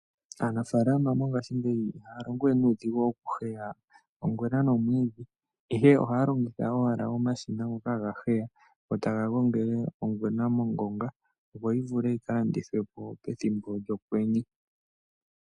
Aanafalama mongashi ngeyi iha longowe nudhingu oku heya ongwena nomwidhi, ihe ohalongitha owala omashina ngoka hagaheya go tanga gongele ongwena mongonga yo oyivule yikalandithwepo pethimbo lyokwenye.